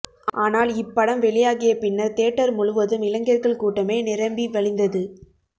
ஆனால் இப்படம் வெளியாகிய பின்னர் தியேட்டர் முழுவதும் இளைஞர்கள் கூட்டமே நிரம்பி வழிந்தது